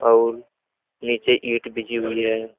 आउर नीचे ईट बिछी हुई है।